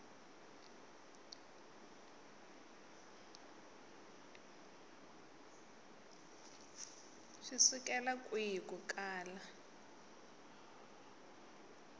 swi sukela kwihi ku kala